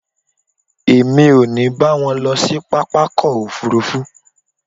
Èmi ò ní bá wọn lọ sí pápákọ̀ òfuurufú